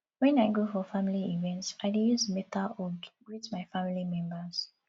wen i go for family event i dey use beta hug greet my family members